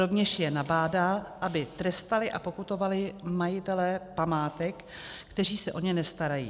Rovněž je nabádá, aby trestali a pokutovali majitele památek, kteří se o ně nestarají.